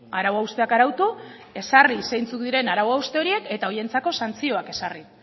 arau hausteak arautu ezarri zeintzuk diren arau hauste horiek eta horientzako santzioak ezarri